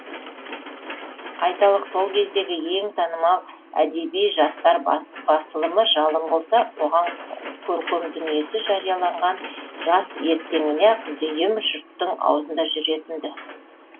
айталық сол кездегі ең танымал әдеби жастар басылымы жалын болса оған көркем дүниесі жарияланған жас ертеңіне ақ дүиім жұрттың аузында жүретін ді